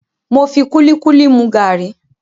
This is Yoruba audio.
Mo fi kúlíkúlí mu gàrí.